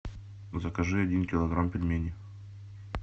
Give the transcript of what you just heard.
закажи один килограмм пельменей